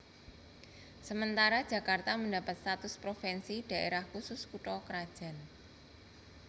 Sementara Jakarta mendapat status provinsi Daerah Khusus Kutha krajan